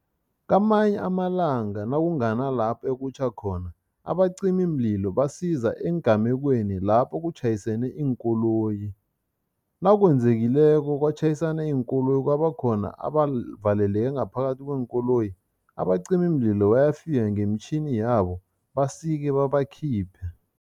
Kamanye amalanga nakunganalapho ekutjha khona, abacimimlilo basiza eengamekweni lapho kutjhayisene iinkoloyi. Nakwenzekileko kwatjhayisana iinkoloyi kwabakhona abavaleleke ngaphakathi kweenkoloyi, abacimimlilo bayafika ngemitjhini yabo, basike babakhiphe.